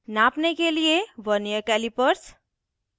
नापने के लिए वर्नियर कैलिपर्स